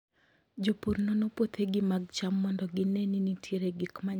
Jopur nono puothegi mag cham mondo gine ni nitie gik manyalo hinyo cham.